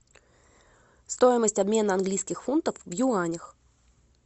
стоимость обмена английских фунтов в юанях